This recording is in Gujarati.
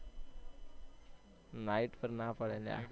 night માં ના પડે લ્યા